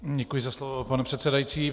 Děkuji za slovo, pane předsedající.